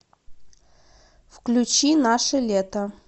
включи наше лето